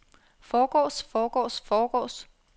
forgårs forgårs forgårs